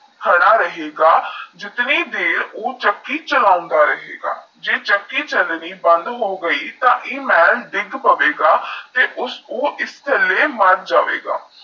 ਖੜਾ ਰਹੇਗਾ ਜਿਤਨੀ ਦੇਰ ਊ ਚੱਕੀ ਚਲੋਂਦਾ ਰਹੇਗਾ ਜੇਹ ਚੱਕੀ ਚਲਣੀ ਬੰਦ ਹੋਗੀ ਤੇਈ ਆ ਮਹਲ ਦੇਗ ਪਾਵੇਗਾ ਦਾ ਉਸਨੂ ਆਸ ਮਹਲ ਦੇ ਥਲ ਮਾਰ ਜਾਵੇਗਾ